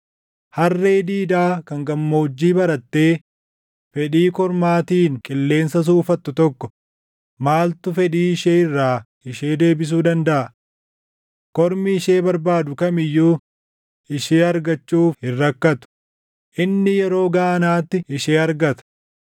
harree diidaa kan gammoojjii barattee fedhii kormaatiin qilleensa suufattu tokko, maaltu fedhii ishee irraa ishee deebisuu dandaʼa? Kormi ishee barbaadu kam iyyuu ishee argachuuf hin rakkatu; inni yeroo gaanaatti ishee argata.